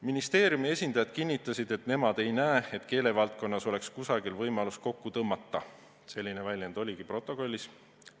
Ministeeriumi esindajad kinnitasid, et nemad ei näe, et keelevaldkonnas oleks kusagil võimalus kokku tõmmata – selline väljend oligi protokollis.